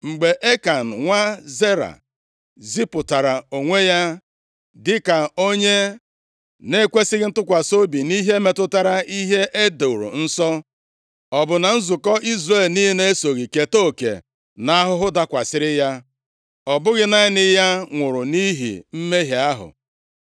Mgbe Ekan, nwa Zera, zipụtara onwe ya dịka onye na-ekwesighị ntụkwasị obi nʼihe metụtara ihe e doro nsọ, ọ bụ na nzukọ Izrel niile esoghị keta oke nʼahụhụ dakwasịrị ya? Ọ bụghị naanị ya nwụrụ nʼihi mmehie ahụ.’ ”